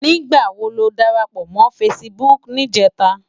Nigbá wó ló dárápò mò fãsibúk nijètá?